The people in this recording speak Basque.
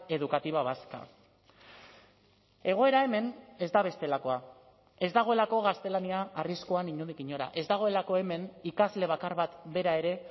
educativa vasca egoera hemen ez da bestelakoa ez dagoelako gaztelania arriskuan inondik inora ez dagoelako hemen ikasle bakar bat bera ere